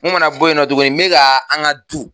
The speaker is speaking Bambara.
Kumana bo yen nɔ tuguni n be ka an ka du